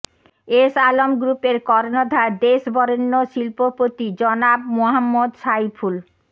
S Alam গ্রুপের কর্ণধার দেশ বরেণ্য শিল্পপতি জনাব মোহাম্মদ সাইফুল